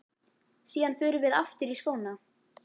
Síðan förum við aftur í skóna.